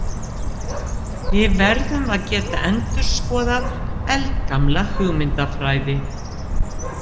Við verðum að geta endurskoðað eldgamla hugmyndafræði.